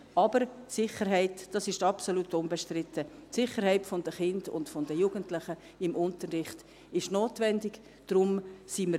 Aber die Sicherheit der Kinder und Jugendlichen im Unterricht ist notwendig, das ist absolut unbestritten.